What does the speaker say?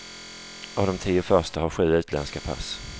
Av de tio första har sju utländska pass.